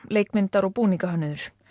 leikmyndar og búningahönnuður